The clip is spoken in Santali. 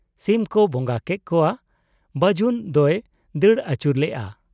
ᱥᱤᱢ ᱠᱚ ᱵᱚᱸᱜᱟ ᱠᱮᱜ ᱠᱚᱣᱟ ᱾ ᱵᱟᱹᱡᱩᱱ ᱫᱚᱭ ᱫᱟᱹᱲ ᱟᱹᱪᱩᱨ ᱞᱮᱜ ᱟ ᱾